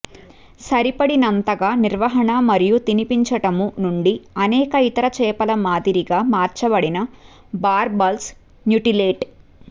సరిపడినంతగా నిర్వహణ మరియు తినిపించడము నుండి అనేక ఇతర చేపల మాదిరిగా మార్చబడిన బార్బల్స్ మ్యుటిలేట్